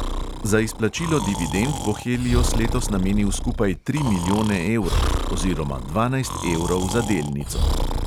Za izplačilo dividend bo helios letos namenil skupaj tri milijone evrov oziroma dvanajst evrov za delnico.